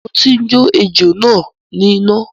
Mo ti ń jó ejó náà ní iná.